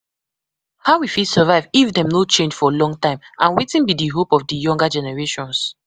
How we fit survive if dem no change for long time, and wetin be di hope of di younger generations?